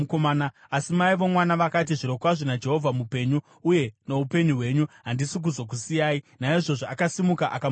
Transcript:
Asi mai vomwana vakati, “Zvirokwazvo naJehovha mupenyu, uye noupenyu hwenyu, handisi kuzokusiyai.” Naizvozvo akasimuka akamutevera.